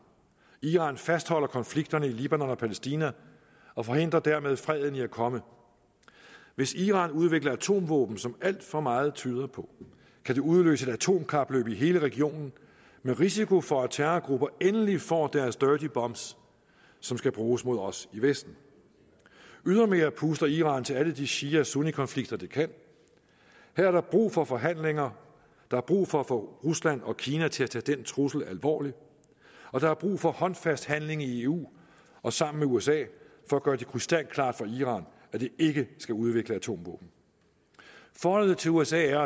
iran fastholder konflikterne i libanon og palæstina og forhindrer dermed freden i at komme hvis iran udvikler atomvåben som alt for meget tyder på kan det udløse et atomkapløb i hele regionen med risiko for at terrorgrupper endelig får deres dirty bombs som skal bruges mod os i vesten ydermere puster iran til alle de shia og sunnikonflikter de kan her er der brug for forhandlinger der er brug for at få rusland og kina til at tage den trussel alvorligt og der er brug for håndfast handling i eu og sammen med usa for at gøre det krystalklart for iran at de ikke skal udvikle atomvåben forholdet til usa er